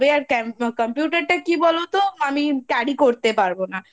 আর Computer টা কি বলতো? আমি Carry করতে পারবো না